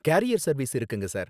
carrier service இருக்குங்க, sir